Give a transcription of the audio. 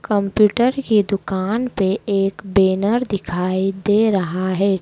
Computer की दुकान पे एक बेनर दिखाई दे रहा है।